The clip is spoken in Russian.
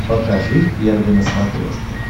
покажи первый на смотрешке